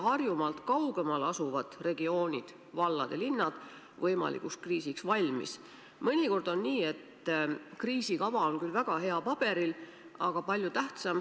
Eile toimunud linnade-valdade liidu volikogul oli Terviseamet ka kohal, Sotsiaalministeeriumi esindajad olid kohal ja oli päris tõsine arutelu.